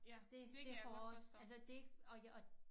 Det det hårdt altså det ikke og og